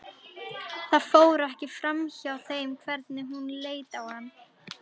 Það fór ekki framhjá þeim hvernig hún leit á hann.